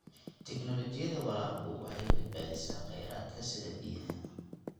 Tignoolajiyada waraabku waxay badbaadisaa kheyraadka sida biyaha.